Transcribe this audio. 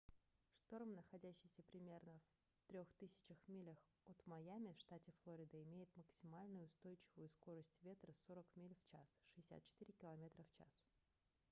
шторм находящийся примерно в 3000 милях от майами в штате флорида имеет максимальную устойчивую скорость ветра 40 миль/ч 64 км/ч